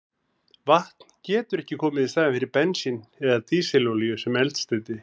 Vatn getur ekki komið í staðinn fyrir bensín eða dísilolíu sem eldsneyti.